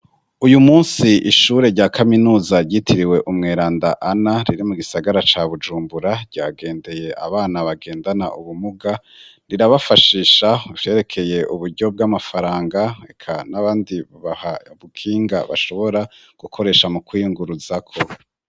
Uyu munsi ishure rya kaminuza ryitiriwe umweranda Ana riri mu gisagara ca Bujumbura ryagendeye abana bagendana ubumuga rirabafashisha ivyerekeye uburyo bw'amafaranga, eka n'abandi babaha ikinga bashobora gukoresha mu kwiyunguruzako.